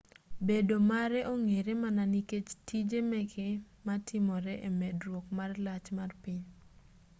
bedo mare ong'ere mana nikech tije meke matimore e medruok mar lach mar piny